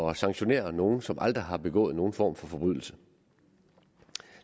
at sanktionere nogle som aldrig har begået nogen form for forbrydelse